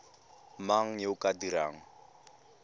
mang yo o ka dirang